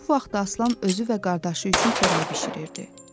Bu vaxtı Aslan özü və qardaşı üçün xörək bişirirdi.